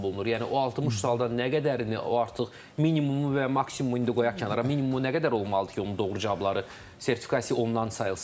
Yəni o 60 sualdan nə qədərini, o artıq minimumu və ya maksimumu indi qoyaq kənara, minimumu nə qədər olmalıdır ki, onun doğru cavabları sertifikasiya olunan sayılsın?